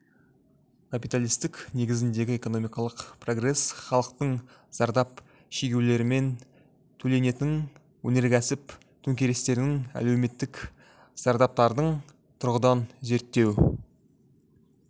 капиталистік негіздегі экономикалық прогресс халықтың зардап шегулерімен төленетің өнеркәсіп төңкерістерінің әлеуметтік зардаптардың тұрғыдан зерттеу